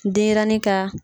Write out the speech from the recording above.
Denyɛrɛnin ka